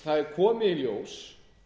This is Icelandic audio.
það er komið í ljós